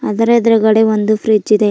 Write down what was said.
ಇದರ ಎದುರುಗಡೆ ಒಂದು ಫ್ರಿಡ್ಜ್ ಇದೆ.